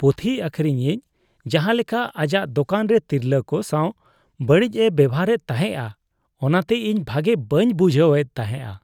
ᱯᱩᱛᱷᱤ ᱟᱠᱷᱨᱤᱧᱤᱡ ᱡᱟᱦᱟ ᱞᱮᱠᱟ ᱟᱡᱟᱜ ᱫᱳᱠᱟᱱ ᱨᱮ ᱛᱤᱨᱞᱟᱹ ᱠᱚ ᱥᱟᱣ ᱵᱟᱹᱲᱤᱡᱼᱮ ᱵᱮᱣᱦᱟᱨᱮᱫ ᱛᱟᱦᱮᱸᱜᱼᱟ ᱚᱱᱟᱛᱮ ᱤᱧ ᱵᱷᱟᱜᱮ ᱵᱟᱹᱧ ᱵᱩᱡᱷᱟᱹᱣ ᱮᱫ ᱛᱟᱦᱮᱸᱜᱼᱟ ᱾